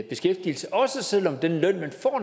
beskæftigelse også selv om den løn